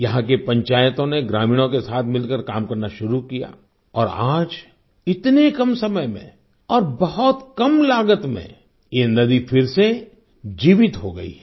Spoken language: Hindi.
यहाँ की पंचायतों ने ग्रामीणों के साथ मिलकर काम करना शुरू किया और आज इतने कम समय में और बहुत कम लागत में ये नदी फिर से जीवित हो गई है